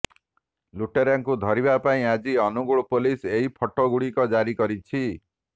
ଲୁଟେରାଙ୍କୁ ଧରିବା ପାଇଁ ଆଜି ଅନୁଗୋଳ ପୋଲିସ ଏହି ଫଟୋ ଗୁଡ଼ିକ ଜାରି କରିଛି